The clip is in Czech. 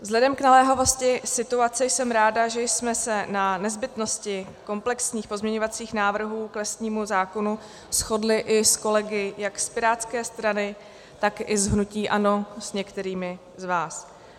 Vzhledem k naléhavosti situace jsem ráda, že jsme se na nezbytnosti komplexních pozměňovacích návrhů k lesnímu zákonu shodli i s kolegy jak z pirátské strany, tak i z hnutí ANO, s některými z vás.